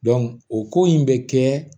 o ko in bɛ kɛ